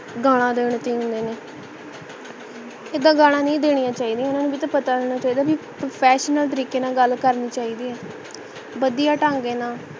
ਗੱਲਾਂ ਦੇਣ ਨੇ ਏਦਾਂ ਗਾਲਾਂ ਨਹੀਂ ਦੇਣੀਆਂ ਚਾਹੀਦੀਆਂ ਨਾ ਇਹਨਾਂ ਨੂੰ ਭੀ ਤਾਂ ਪਤਾ ਹੈ ਬੀ professional ਤਰੀਕੇ ਨਾਲ ਗੱਲ ਕਰਨੀ ਚਾਹੀਦੀ ਹੈ ਵਧੀਆ ਤਾਂਗੇ ਨਾਲ